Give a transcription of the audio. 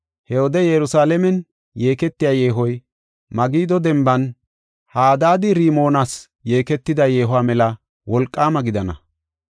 He wode Yerusalaamen yeeketiya yeehoy Magido denban Hadaad-Rimoonas yeeketida yeehuwa mela wolqaama gidana.